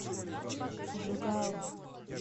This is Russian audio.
жугао